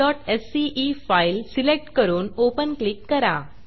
helloworldसीई file select करून Openओपन click करा